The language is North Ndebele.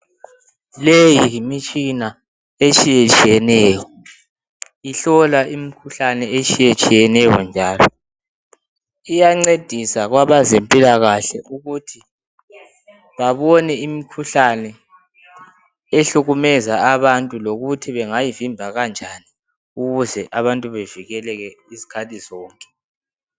Le yimitshina etshiyetshiyeneyo. Ihlola imikhuhlane etshiyetshiyeneyo njalo. Iyancedisa kwabazempilakahle ukuthi babone imikhuhlane, ehlukumeza abantu. Lokuthi bangayivimba kanjani, ukuze abantu bavikeleke izikhathi zonke.